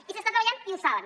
i s’està treballant i ho saben